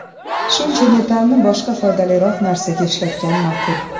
Shuncha metallni boshqa foydaliroq narsaga ishlatgan ma’qul.